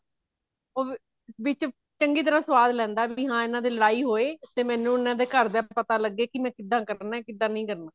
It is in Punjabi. ਉਹ ਵੀ ਵਿੱਚ ਚੰਗੀ ਤਰ੍ਹਾਂ ਸਵਾਦ ਲੈਂਦਾ ਵੀ ਇਹਨਾ ਦੇ ਲੜਾਈ ਹੋਵੇ ਤੇ ਮੈਨੂੰ ਇਹਨਾ ਦੇ ਘਰ ਦਾ ਪਤਾ ਲੱਗੇ ਕੀ ਮੈਂ ਕਿੱਦਾਂ ਕਰਨਾ ਕਿੱਦਾਂ ਨਹੀਂ ਕਰਨਾ